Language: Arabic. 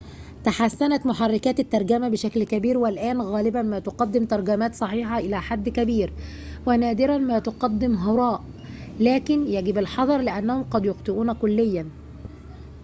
تحسّنت محركات الترجمة بشكل كبير، والآن غالباً ما تقدم ترجمات صحيحة إلى حد كبير ونادراً ما تفدم هراءً، لكن يجب الحذر، لأنهم قد يخطئون كليّاً